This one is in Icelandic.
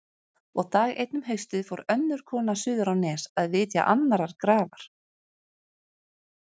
Og dag einn um haustið fór önnur kona suður á Nes að vitja annarrar grafar.